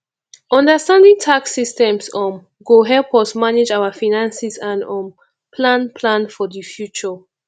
understanding tax systems um go help us manage our finances and um plan plan for the future